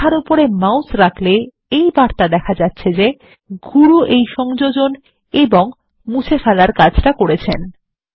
এই লেখার উপরে মাউস রাখলে এই বার্তা দেখা যাচ্ছে যে গুরু এই সংযোজন ও মুছে ফেলার কাজ করেছেন